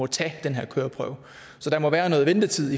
tage den her køreprøve så der må være noget ventetid